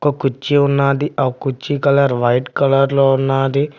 ఒక కుర్చీ ఉన్నాది ఆ కుర్చీ కలర్ వైట్ కలర్ లో ఉన్నాది.